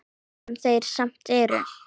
Sem þeir samt eru.